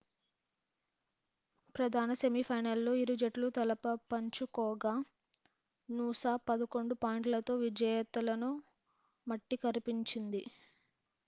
ప్రధాన semi final లో ఇరుజట్లు తలపపంచుకోగా నూసా 11 పాయింట్లతో విజేతలను మట్టికరిపించింది